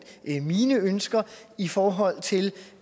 mine ønsker i forhold til